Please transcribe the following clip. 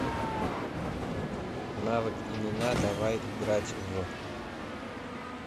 навык имена давай играть в